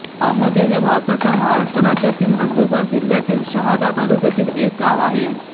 आमोदे हे भारताच्या महाराष्ट्र राज्यातील नंदुरबार जिल्ह्यातील शहादा तालुक्यातील एक गाव आहे